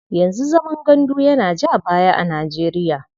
Yanzu zaman gandu yana ja baya a Nijeriya.